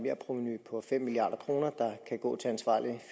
en ramme på fem milliard kroner